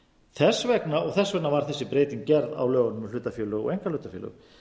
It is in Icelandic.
þess vegna var þessi breyting gerð á lögunum um hlutafélög og einkahlutafélög